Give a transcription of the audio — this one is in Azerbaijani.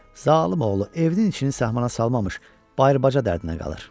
Zalım oğlu evinin içini sahmana salmamış bayır-baca dərdinə qalır.